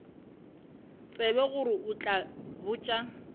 tsebe gore o tla botša